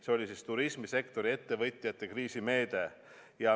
See oli turismisektori ettevõtjate kriisimeede.